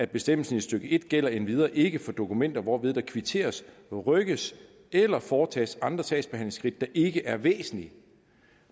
bestemmelsen i stykke en gælder endvidere ikke for dokumenter hvorved der kvitteres rykkes eller foretages andre sagsbehandlingsskridt der ikke er væsentlige